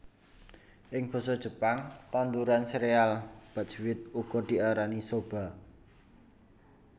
Ing basa Jepang tanduran sereal buckwheat uga diarani soba